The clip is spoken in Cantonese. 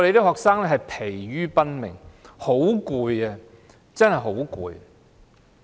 學生疲於奔命，真的疲倦不堪。